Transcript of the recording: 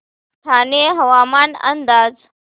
ठाणे हवामान अंदाज